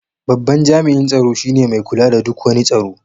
Babban jami'in tsaro shi ne mai kula da duk wani tsaro.